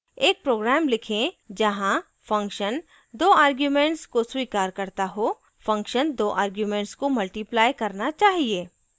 एक program लिखें जहाँ function दो arguments को स्वीकार करता हो function दो arguments को multiply गुणा करना चाहिए